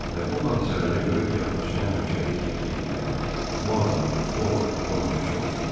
Və bu hadisələri görüb yaddaşına həmişəlik həkk eləyən bu adamın o vaxt 10 yaşı olub.